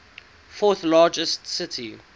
fourth largest city